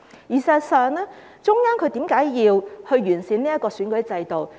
事實上，為何中央要完善選舉制度呢？